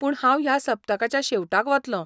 पूण हांव ह्या सप्तकाच्या शेवटाक वतलों.